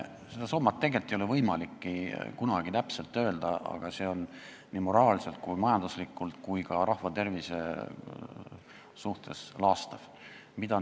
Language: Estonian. Seda summat ei ole võimalik kunagi täpselt öelda, aga see, mida on tehtud ainult maksupoliitikaga, on moraalselt, majanduslikult ja ka rahva tervise mõttes laastav.